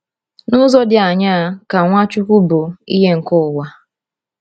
N’ụzọ dị aṅaa ka Nwachukwu bụ ìhè nke ụwa?